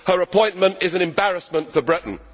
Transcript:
Her appointment is an embarrassment for Britain.